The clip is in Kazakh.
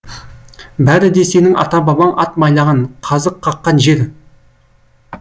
бәрі де сенің ата бабаң ат байлаған қазық қаққан жер